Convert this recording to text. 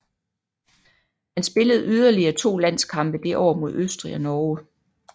Han spillede yderligere to landskampe det år mod Østrig og Norge